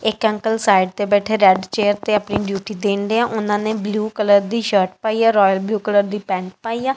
ਇੱਕ uncle side ਤੇ ਬੈਠੇ ਰੈੱਡ ਚੇਅਰ ਤੇ ਆਪਣੀ ਡਿਊਟੀ ਦੇਣ ਢਏ ਆ ਉਹਨਾ ਨੇ ਬਲੂ ਕਲਰ ਦੀ ਸ਼ਰਟ ਪਾਈ ਆ ਰੋਇਅਲ ਬਲੂ ਕਲਰ ਦੀ ਪੇਂਟ ਪਾਈ ਆ।